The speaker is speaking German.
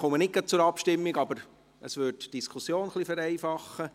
– Ich komme nicht gleich zur Abstimmung, aber es würde die Diskussion etwas vereinfachen.